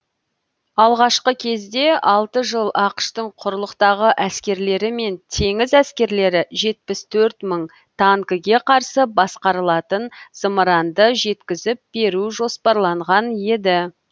алғашқы кезде алты жыл ақш тың құрлықтағы әскерлері мен теңіз әскерлері жетпіс төрт мың танкіге қарсы басқарылатын зымыранды жеткізіп беру жоспарланған еді